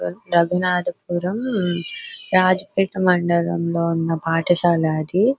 రఘునాధ పురం Rajpet మనడలం లో వున్నా పాథశాల ఆది.